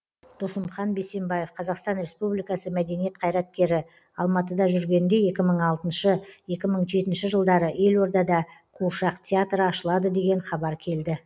досымхан бейсенбаев қазақстан республикасының мәдениет қайраткері алматыда жүргенде екі мың алты екі мың жетінші жылдары елордада қуыршақ театры ашылады деген хабар келді